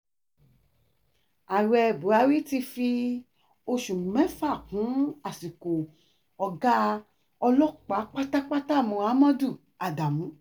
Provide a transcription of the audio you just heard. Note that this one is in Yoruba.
ààrẹ buhari ti fi oṣù mẹ́ta kún àsìkò ọ̀gá ọlọ́pàá pátápátá muhammed adamu